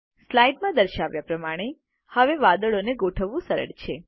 સ્લાઇડમાં દર્શાવ્યા પ્રમાણે હવે વાદળોને ગોઠવવું સરળ છે